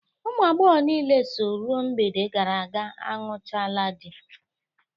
Ụmụ agbọghọ niile so ru mgbede gara aga anụchaala di